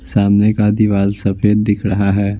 सामने का दीवाल सफेद दिख रहा है।